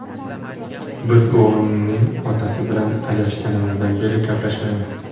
Biz o‘g‘limning otasi bilan ajrashganimizdan beri gaplashmaymiz.